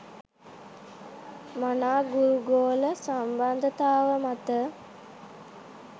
මනා ගුරු ගෝල සම්බන්ධතාව මත